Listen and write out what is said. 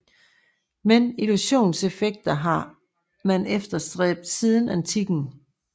Men illusionseffekten har man efterstræbt siden antikken